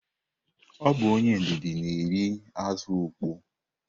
Ọ bụ onye ndidi na-eri azụ ukpoo.